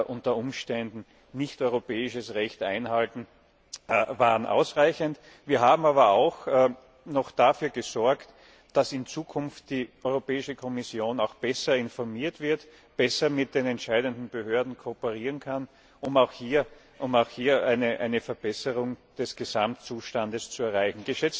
die unter Umständen europäisches Recht nicht einhalten, waren ausreichend. Wir haben aber auch noch dafür gesorgt, dass in Zukunft die Europäische Kommission besser informiert wird, besser mit den entscheidenden Behörden kooperieren kann, um auch hier eine Verbesserung des Gesamtzustands zu erreichen.